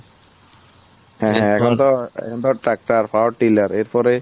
তো তাই জন্য তো ট্রাক্টর এর পরে